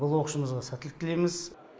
бұл оқушымызға сәттілік тілейміз